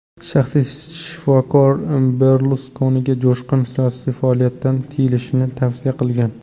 Shaxsiy shifokor Berluskoniga jo‘shqin siyosiy faoliyatdan tiyilishni tavsiya qilgan.